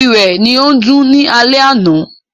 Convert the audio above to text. Ìrẹ̀ ni ó ń dún ni alẹ́ àná.